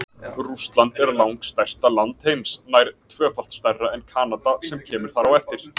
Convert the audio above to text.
Rússland er langstærsta land heims, nær tvöfalt stærra en Kanada sem kemur þar á eftir.